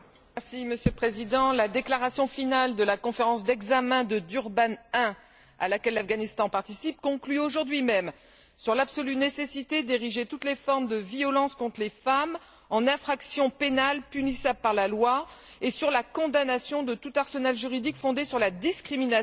Monsieur le Président, la déclaration finale de la conférence d'examen de Durban I, à laquelle l'Afghanistan participe, conclut aujourd'hui même sur l'absolue nécessité d'ériger toutes les formes de violence contre les femmes en infractions pénales punissables par la loi et sur la condamnation de tout arsenal juridique fondé sur la discrimination,